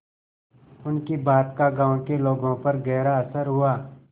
उनकी बात का गांव के लोगों पर गहरा असर हुआ